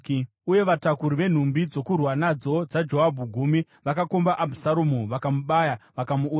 Uye vatakuri venhumbi dzokurwa nadzo dzaJoabhu gumi vakakomba Abhusaromu, vakamubaya, vakamuuraya.